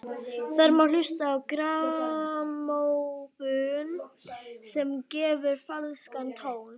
Þar má hlusta á grammófón sem að gefur falskan tón.